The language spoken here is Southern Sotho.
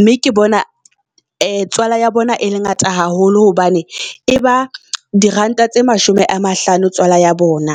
Nme ke bona tswala ya bona e le ngata haholo hobane e ba di Ranta tse mashome a mahlano tswala ya bona.